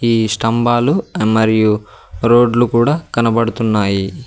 ఈ స్తంబాలు మరియు రోడ్లు కూడా కనబడుతున్నాయి.